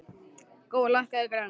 Gói, lækkaðu í græjunum.